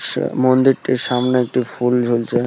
সে মন্দিরটির সামনে একটি ফুল ঝুলছে।